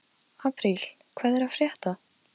Hann hefði aldrei gert þetta edrú.